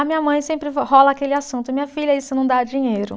A minha mãe sempre, rola aquele assunto, minha filha, isso não dá dinheiro.